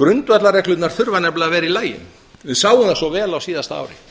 grundvallarreglurnar þurfa nefnilega að vera í lagi við sáum það svo vel á síðasta ári